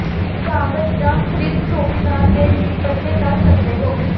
ਕਾਗਜ਼ ਜ thread souvenir ਦੇ ਵੀ ਬੱਚੇ ਕਰ ਸਕਦੇ ਹੋ